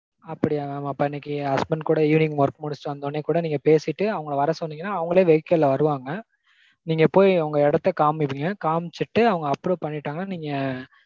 அப்படியா mam. அப்போ இன்னைக்கு husband கூட evening work முடிச்சிட்டு வந்த உடனே கூட வர சொன்னீங்கனா அவங்களே vehicle ல்ல வருவாங்க. நீங்க போய் உங்க எடத்த காமிப்பீங்க. காமிச்சிட்டு அவங்க approve பண்ணிட்டாங்கனா நீங்க